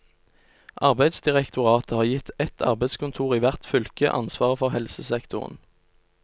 Arbeidsdirektoratet har gitt ett arbeidskontor i hvert fylke ansvaret for helsesektoren.